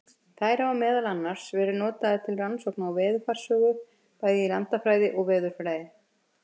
Þær hafa meðal annars verið notaðar til rannsókna á veðurfarssögu, bæði í landafræði og veðurfræði.